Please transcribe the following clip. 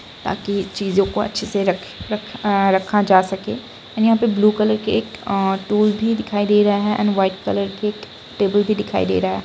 ताकि चीजों को अच्छे से रखे रखा जा सके एंड यहाँ पर ब्लू कलर की टूल भी दिखाई दे रहा है एंड वाइट कलर के टेबल भी दिखाई दे रहा है।